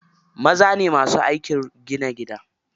Maza ne masu aikin gina gida.